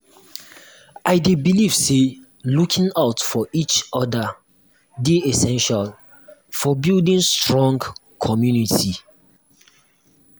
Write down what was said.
i dey believe say looking out for each other dey essential for building strong community.